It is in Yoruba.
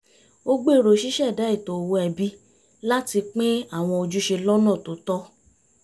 ó gbèrò ṣíṣẹ̀dá ètò owó ẹbí láti pín àwọn ojúṣe lọ́nà tó tọ́